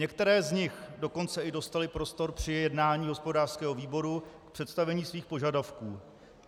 Některé z nich dokonce i dostaly prostor při jednání hospodářského výboru k představení svých požadavků.